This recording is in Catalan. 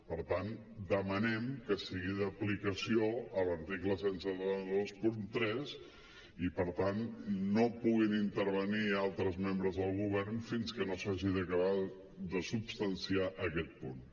per tant demanem que sigui d’aplicació l’article disset vint tres i per tant no puguin intervenir altres membres del govern fins que no s’hagi acabat de substanciar aquest punt